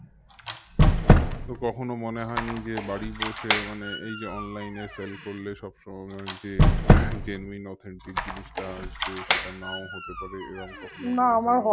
তো কখনো মনে হয়নি যে বাড়ি বসে মানে এই যে online এ sell করলে সবসময় মনে হবে যে genuine authentic জিনিসটা আসবে সেটা নাও হতে পারে